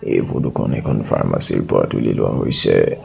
এই ফটোখন এখন ফাৰ্মচীৰ পৰা তুলি লোৱা হৈছে।